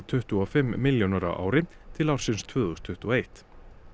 tuttugu og fimm milljónir á ári til ársins tvö þúsund tuttugu og eitt